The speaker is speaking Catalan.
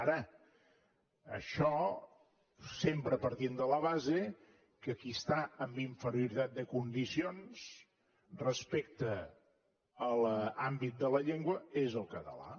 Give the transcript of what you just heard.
ara això sempre partint de la base que qui està en inferioritat de condicions respecte a l’àmbit de la llengua és el català